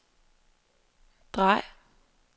drej